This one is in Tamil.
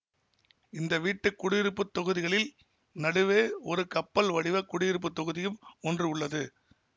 இந்த வீட்டு குடியிருப்பு தொகுதிகளின் நடுவே ஒரு கப்பல் வடிவ குடியிருப்பு தொகுதியும் ஒன்று உள்ளது